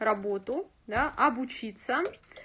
работу да обучиться